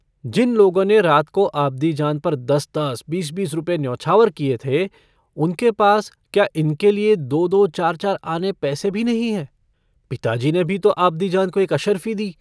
जिन लोगों ने रात को आबदीजान पर दस-दस बीस-बीस रुपए न्योछावर किए थे, उनके पास क्या इनके लिए दो-दो चार-चार आने पैसे भी नहीं हैं? पिताजी ने भी तो आबदीजान को एक अशर्फ़ी दी।